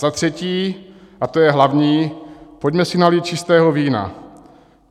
Za třetí, a to je hlavní, pojďme si nalít čistého vína.